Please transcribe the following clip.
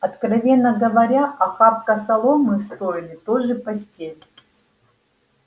откровенно говоря охапка соломы в стойле тоже постель